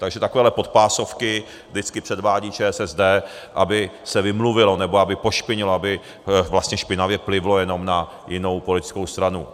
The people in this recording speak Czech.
Takže takovéhle podpásovky vždycky předvádí ČSSD, aby se vymluvilo, nebo aby pošpinilo, aby vlastně špinavě plivlo jenom na jinou politickou stranu.